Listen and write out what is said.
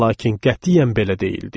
Lakin qətiyyən belə deyildik.